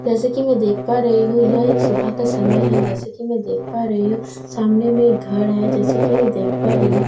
जैसे कि मैं देख पा रही हूं यह एक सुबह का समय है जैसे कि मैं देख पा रही हूं सामने में घर है जैसे कि मैं देख पा रही हूं।